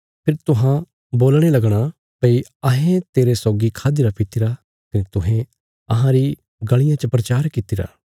फेरी तुहां बोलणे लगणा भई अहें तेरे सौगी खाद्दीरा पित्तीरा कने तुहें अहां री गलियां च प्रचार कित्तिरा